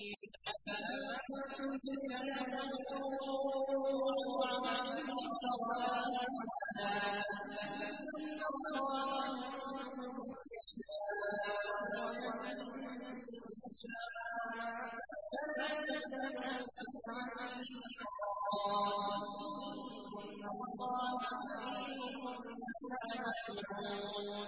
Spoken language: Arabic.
أَفَمَن زُيِّنَ لَهُ سُوءُ عَمَلِهِ فَرَآهُ حَسَنًا ۖ فَإِنَّ اللَّهَ يُضِلُّ مَن يَشَاءُ وَيَهْدِي مَن يَشَاءُ ۖ فَلَا تَذْهَبْ نَفْسُكَ عَلَيْهِمْ حَسَرَاتٍ ۚ إِنَّ اللَّهَ عَلِيمٌ بِمَا يَصْنَعُونَ